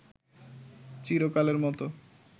চিরকালের মতো